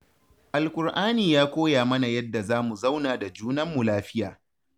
Alkur'ani ya koya mana yadda za mu zauna da junanmu lafiya